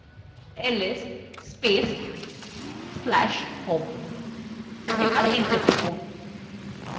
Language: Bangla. ls space/slash home এবং enter টিপুন